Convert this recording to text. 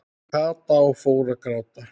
Kata og fór að gráta.